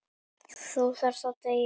Þú þarft að deyja.